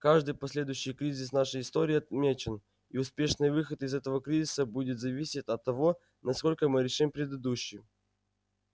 каждый последующий кризис в нашей истории отмечен и успешный выход из этого кризиса будет зависеть от того насколько мы решим предыдущий